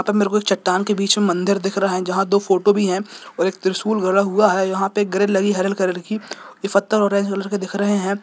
अन्दर कुछ चट्टान के बिच में मंदिर दिख रहा है जहा दो फोटो भी है और एक त्रिशूल गड़ा हुआ है जहा पे एक ग्रिल लगी हरिल कलर की ये पत्थर ऑरेंज कलर के दिख रहे है।